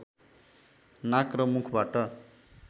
नाक र मुखबाट